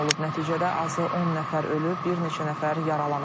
Nəticədə azı 10 nəfər ölüb, bir neçə nəfər yaralanıb.